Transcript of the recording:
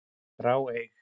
grá, eig.